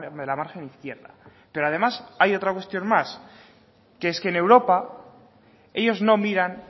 de la margen izquierda pero además hay otra cuestión más que es que en europa ellos no miran